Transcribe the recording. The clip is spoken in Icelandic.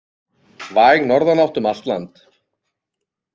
Væg norðanátt um land allt